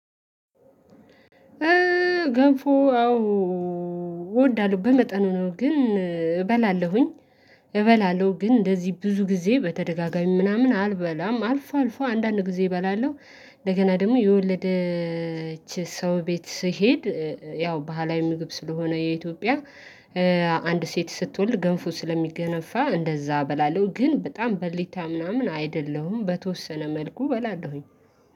ገንፎ አዎ እወዳለሁ በመጠኑ ነው ግን እበላለሁኝ እበላለሁ ግን እንደዚህ ብዙ ጊዜ በተደጋጋሚ ምናምን አልበላም አልፎ አልፎ አንዳንድ ጊዜ እበላለሁ። እንደገና ደግሞ የወለደች ሰው ቤት ስሄድ ያው ባህላዊ ምግብ ስለሆነ የኢትዮጵያ አንድ ሴት ስትወልድ ገንፎ ስለሚገነፋ እንደዝያ እበላለው ግን በጣም በሊታ ምናምን አይደለሁም በተወሰነ መልኩ እበላለሁኝ